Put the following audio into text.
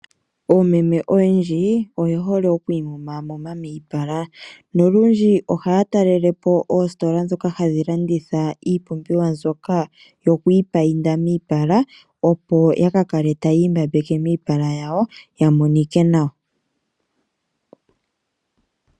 Oomeme oyendji oye hole okwi mumamuma miipala nolundji ohaya talelepo ositola ndhoka hadhi landitha iipumbiwa mbyoka yokwipayinda opo yakakale tayi mbambeke miipala yawo yamonike nawa.